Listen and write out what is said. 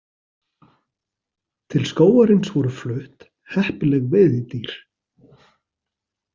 Til skógarins voru flutt heppileg veiðidýr.